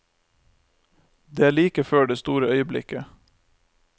Det er like før det store øyeblikket.